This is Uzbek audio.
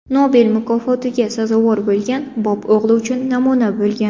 Nobel mukofotiga sazovor bo‘lgan Bob o‘g‘li uchun namuna bo‘lgan.